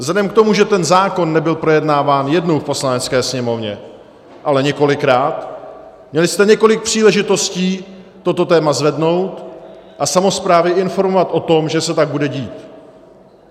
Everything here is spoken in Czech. Vzhledem k tomu, že ten zákon nebyl projednáván jednou v Poslanecké sněmovně, ale několikrát, měli jste několik příležitostí toto téma zvednout a samosprávy informovat o tom, že se tak bude dít.